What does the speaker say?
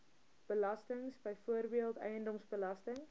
belastings byvoorbeeld eiendomsbelasting